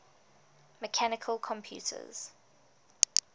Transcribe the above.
mechanical computers